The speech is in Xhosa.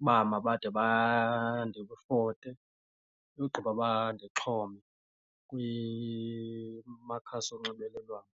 uba mabade bandifote ugqiba bandixhome kumakhasi onxibelelwano.